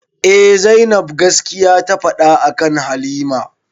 Eh zainab gaskiya ta faɗa akan halima